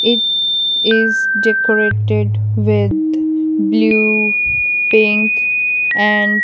it is decorated with blue pink and --